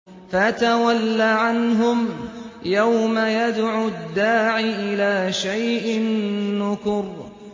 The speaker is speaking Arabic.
فَتَوَلَّ عَنْهُمْ ۘ يَوْمَ يَدْعُ الدَّاعِ إِلَىٰ شَيْءٍ نُّكُرٍ